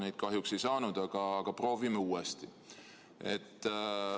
Neid kahjuks ei saanud, aga proovime uuesti.